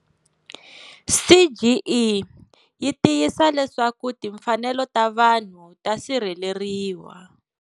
CGE yi tiyisa leswaku timfanelo ta vanhu ta sirheleriwa.